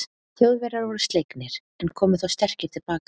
Þjóðverjar voru slegnir, en komu þó sterkir til baka.